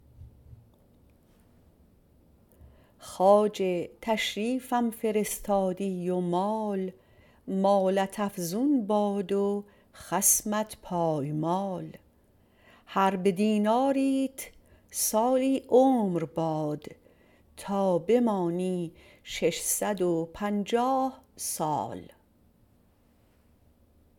خواجه تشریفم فرستادی و مال مالت افزون باد و خصمت پایمال هر به دیناریت سالی عمر باد تا بمانی ششصد و پنجاه سال